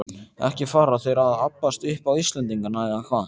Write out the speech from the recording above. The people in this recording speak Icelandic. Ekki fara þeir að abbast upp á Íslendinga, eða hvað?